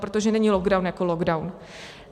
Protože není lockdown jako lockdown.